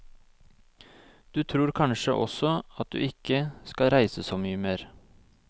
Du tror kanskje også at du ikke skal reise så mye mer.